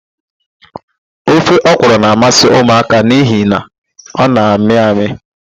Ofe ọkwụrụ na-amasị ụmụaka n'ihi na ọ na-amị amị.